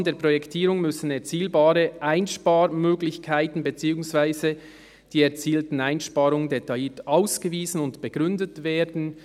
«Im Rahmen der Projektierung müssen erzielbare Einsparmöglichkeiten bzw. die erzielten Einsparungen detailliert ausgewiesen und begründet werden.